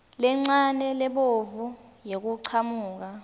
lencane lebovu yekuchamuka